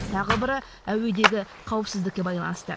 тағы бірі әуедегі қауіпсіздікке байланысты